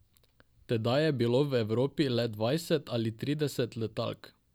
Tedaj je bilo v Evropi le dvajset ali trideset letalk.